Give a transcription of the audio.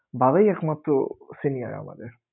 বাবাই একমাত্র senior আমাদের